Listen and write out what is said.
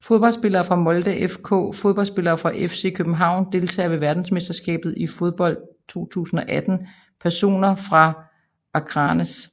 Fodboldspillere fra Molde FK Fodboldspillere fra FC København Deltagere ved verdensmesterskabet i fodbold 2018 Personer fra Akranes